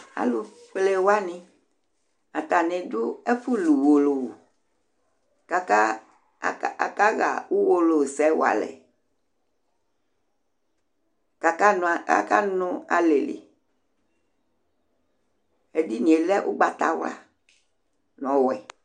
Alufʋɛlewaŋi: ataŋi ɖu ɛfu lu Uwolowu Akaha Uwolowu sɛ walɛ kʋ akanu alɛli Ɛɖìní lɛ ugbatawla ŋu ɔwɛ